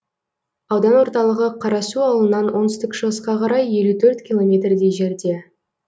аудан орталығы қарасу ауылынан оңтүстік шығысқа қарай елу төрт километрдей жерде